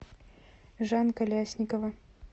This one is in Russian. жанка лясникова